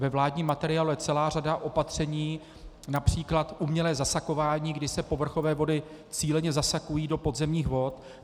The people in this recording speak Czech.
Ve vládním materiálu je celá řada opatření, například umělé zasakování, kdy se povrchové vody cíleně zasakují do podzemních vod.